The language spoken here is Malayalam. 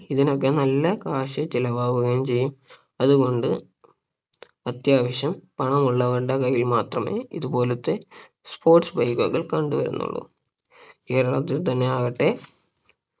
ഇതിനൊക്കെ നല്ല cash ചെലവാകുകയും ചെയ്യും അതുകൊണ്ട് അത്യാവശ്യം പണമുള്ളവരുടെ കയ്യിൽ മാത്രമേ ഇതുപോലത്തെ sports bike കൾ കണ്ടുവരുന്നുള്ളു കേരളത്തിൽ തന്നെ ആകട്ടെ